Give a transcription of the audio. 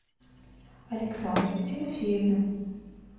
александра тимофеевна